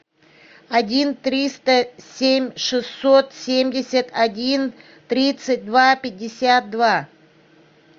один триста семь шестьсот семьдесят один тридцать два пятьдесят два